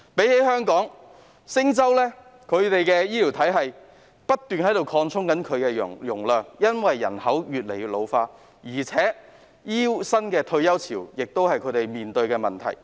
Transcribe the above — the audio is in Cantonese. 與香港相比，新加坡的醫療體系的容量正在不斷擴充，以回應人口老化，而他們亦要面對醫護新一輪的退休潮。